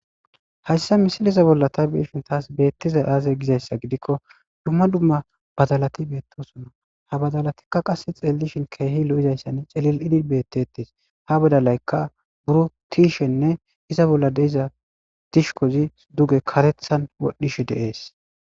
hayssa misiliza bolla ta be'ishin taas beettiza aazey gizayssa gidikko dumma dumma badalati beettosona ha badalatikka qasse xeellishin keehi lo7izayssan celil7idi beettetes ha badalaykka buro tiishenne iza bolla deiza dishkozi duge karethan wodhdhishe deees